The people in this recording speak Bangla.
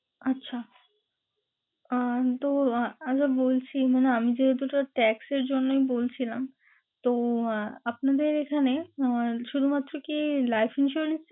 আচ্ছা, আহ তো আহ আগেও বলছি মানে আমি যেহেতু ওটা tax এর জন্যই বলছিলাম। তো আপনাদের এখানে আহ শুধুমাত্র কি? life insurance